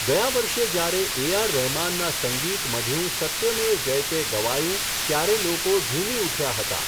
ગયા વર્ષે જ્યારે એ આર રહેમાનના સંગીત, મઢ્યું સત્ય મેવ જયતે ગવાયું ત્યારે લોકો ઝુમી ઊઠ્યા હતા.